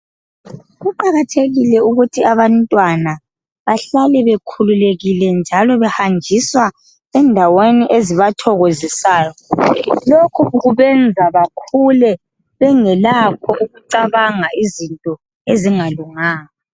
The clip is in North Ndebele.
Kuqakathekile ukuthi abantwana bahlale bekhululekile njalo behanjiswa endaweni ezibathokozisayo. Lokhu kubenza bakhule bengelakho ukucabanga izinto ezingalunganga.